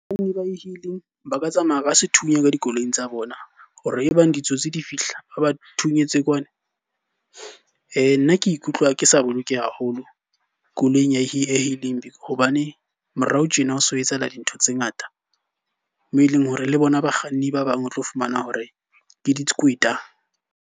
Banna ba e-hailing ba ka tsamaya ka sethunya ka dikoloing tsa bona, ho re e bang ditsotsi di fihla ba ba thunyetswa kwana. Nna ke ikutlwa ke sa bolokeha haholo koloing ya e-hailing hobane morao tjena o so etsahala dintho tse ngata. Mo eleng hore le bona bakganni ba bang o tlo fumana hore ke dikweta.